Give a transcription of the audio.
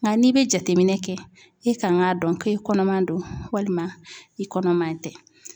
Nga n'i be jateminɛ kɛ, i kan ka dɔn ko i kɔnɔman don walima i kɔnɔman tɛ.